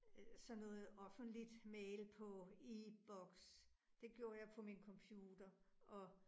Øh sådan noget offentligt mail på e-boks. Det gjorde jeg på min computer. Og